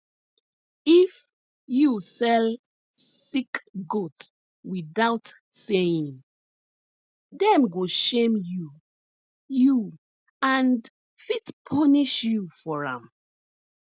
if you sell sick goat without saying dem go shame you you and fit punish you for am